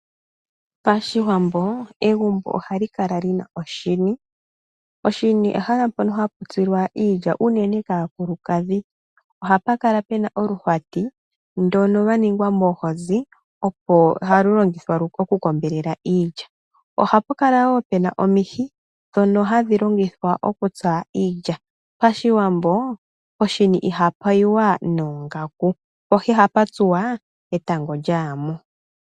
Pashiwambo egumbo ohali kala lina oshini, oshini ehala mopononhaou tsilwa iilya unene kaakulukadhi, ohapu kala puna oluhwati ndono lwa ningwa moohozi ohalu longithwa oku kombelela iilya, ohapu kala woo puna omihi ndhona hadhi longithwa okutsa iilya, pashiwambo poshini ihapu yiwa noongaku po ihapu tsuwa etango lyayamo.